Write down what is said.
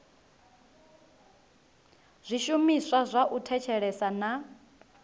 zwishumiswa zwa u thetshelesa na